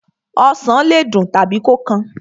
Osàn le dùn tàbí kó kan.